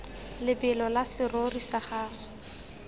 lebelo la serori sa gago